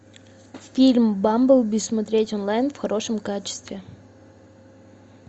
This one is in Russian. фильм бамблби смотреть онлайн в хорошем качестве